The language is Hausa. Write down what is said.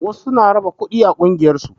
Wasu suna raba kuɗi a ƙungiyar su